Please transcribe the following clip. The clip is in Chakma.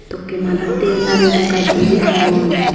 tokke madatde naregul gach dibey agon.